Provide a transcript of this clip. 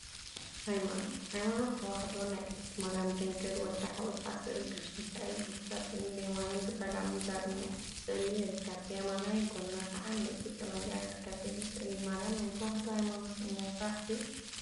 ሃይማኖት ሃይማኖት ተዋህዶ ናይ ቅድስቲ ማርያም ድንግል ወዳ ሓቍፋን ስእሊ ቅዱስ ሚካኤልን ቅዱስ ገብሪኤልን ብየማንን ፀጋምን ዘርኢ ስእሊ ይርከብ፡፡ ብየማናይ ጎና ከዓ ናይ ኢትዮጵያ ባንዴራ ይርከብ፡፡ እዚ ስእሊ ማርያም ናይ ተዋህዶ ሃይማኖት እምነት ጥራሕ ድዩ?